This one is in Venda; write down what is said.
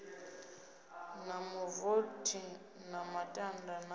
na mavothi na matanda na